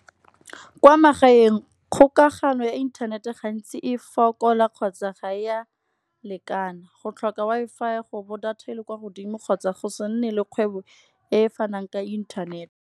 Kwa magaeng kgokagano ya internet-e gantsi e fokola kgotsa ga ya lekana. Go tlhoka Wi-Fi go bo data e le kwa godimo kgotsa go se nne le kgwebo e fanang ka internet.